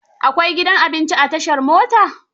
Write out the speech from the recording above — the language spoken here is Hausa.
Akwai gidan abinci a tashar motar?